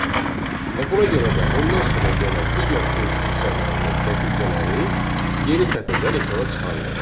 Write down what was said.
Və buna görə də ondan sonra gələn digər print funksiyalarının nəticələri yeni sətirdən ekrana çıxarılır.